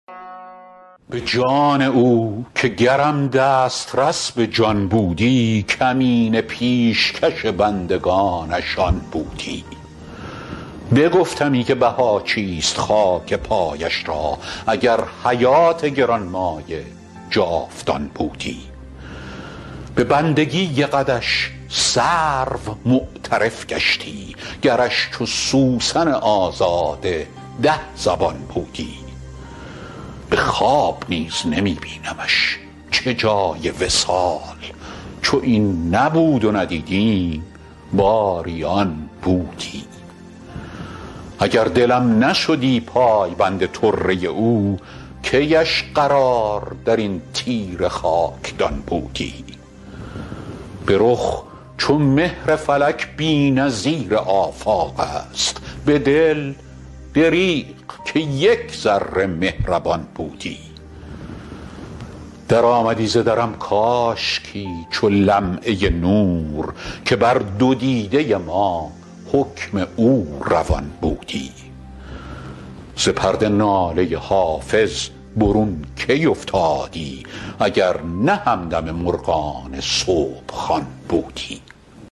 به جان او که گرم دسترس به جان بودی کمینه پیشکش بندگانش آن بودی بگفتمی که بها چیست خاک پایش را اگر حیات گران مایه جاودان بودی به بندگی قدش سرو معترف گشتی گرش چو سوسن آزاده ده زبان بودی به خواب نیز نمی بینمش چه جای وصال چو این نبود و ندیدیم باری آن بودی اگر دلم نشدی پایبند طره او کی اش قرار در این تیره خاکدان بودی به رخ چو مهر فلک بی نظیر آفاق است به دل دریغ که یک ذره مهربان بودی درآمدی ز درم کاشکی چو لمعه نور که بر دو دیده ما حکم او روان بودی ز پرده ناله حافظ برون کی افتادی اگر نه همدم مرغان صبح خوان بودی